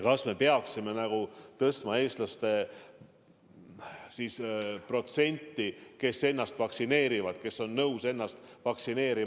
Kas me peaksime tõstma nende Eesti inimeste protsenti, kes on nõus laskma ennast vaktsineerida, ja seda vabatahtlikult?